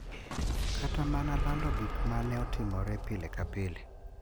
Kata mana lando gik ma ne otimore pile ka pile,